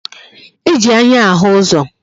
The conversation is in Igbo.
E ji anya ahụ uzo